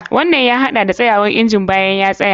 Wannan ya haɗa da tsayawar injin bayan ya tsaya.